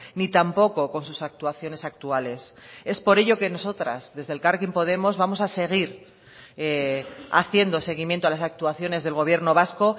ni tampoco con sus actuaciones actuales es por ello que nosotras desde elkarrekin podemos vamos a seguir haciendo seguimiento a las actuaciones del gobierno vasco